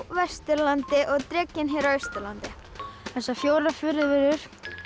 Vesturlandi og drekinn hér á Austurlandi þessar fjórar furðuverur